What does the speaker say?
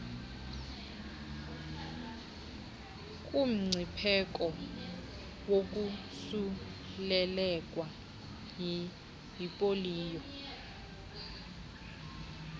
kumngcipheko wokosuleleka yipoliyo